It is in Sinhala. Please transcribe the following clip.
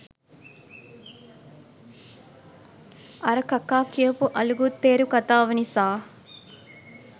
අර කකා කියපු අලුගුත්තේරු කතාව නිසා